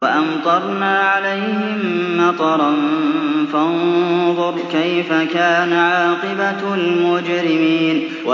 وَأَمْطَرْنَا عَلَيْهِم مَّطَرًا ۖ فَانظُرْ كَيْفَ كَانَ عَاقِبَةُ الْمُجْرِمِينَ